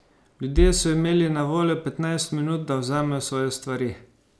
Ljudje so imeli na voljo petnajst minut, da vzamejo svoje stvari.